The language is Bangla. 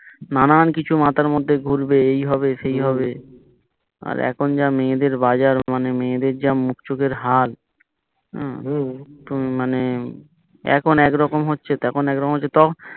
নানান কিছু মাথার মধ্যে ঘুরবে এই হবে সেই হবে আর এখন যা মেয়েদের বাজার মানে মায়েদের যা মুখ চোখের হাল তুমি মানে এখন একরকম হচ্ছে তখন একরকম হচ্ছে